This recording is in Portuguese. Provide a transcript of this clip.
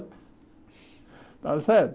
Está certo?